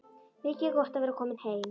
Mikið er gott að vera komin heim!